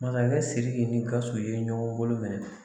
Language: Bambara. Masakɛkɛ SIRIKI ni GAWUSU ye ɲɔgɔn bolo minɛ.